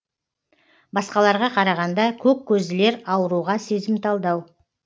басқаларға қарағанда көк көзділер ауруға сезімталдау